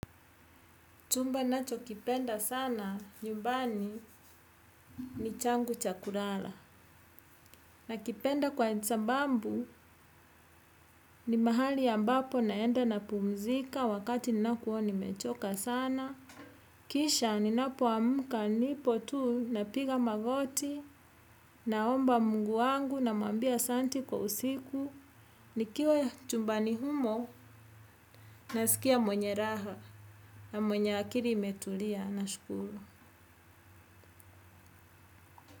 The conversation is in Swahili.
Chumba nacho kipenda sana, nyumbani, ni changu chakurala. Na kipenda kwa nsambambu, ni mahali ambapo naenda napumzika wakati ninakuwa nimechoka sana. Kiisha, ninapoamka nipo tu, napiga magoti, na omba Mungu wangu, namuambia asanti kwa usiku. Nikiwa chumbani humo, na sikia mwenye raha na mwenye akiri imetulia nashkuru.